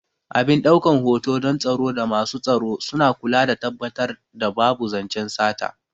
Abin ɗaukan hoto don tsaro da masu tsaro suna kula da tabbatar da babu zancen sata